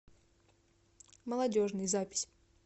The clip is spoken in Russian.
молодежный запись